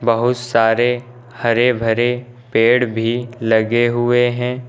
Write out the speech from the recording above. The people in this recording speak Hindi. बहुत सारे हरे भरे पेड़ भी लगे हुए हैं।